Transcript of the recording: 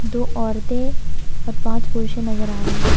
दो औरतें और पांच पुरुषें नजर आ रहे हैं।